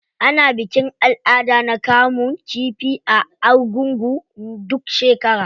Ana bikin al'ada na kamun kifi a argungu duk shekara.